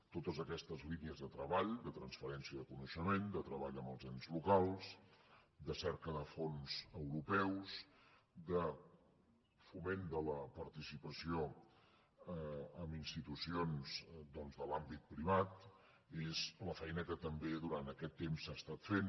totes aquestes línies de treball de transferència de coneixement de treball amb els ens locals de cerca de fons europeus de foment de la participació d’institucions de l’àmbit privat és la feina que també durant aquest temps s’ha fet